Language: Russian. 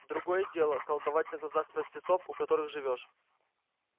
другое дело колдовать на глазах простецов у которых живёшь